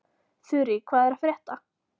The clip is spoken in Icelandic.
Þurí, hvað er að frétta?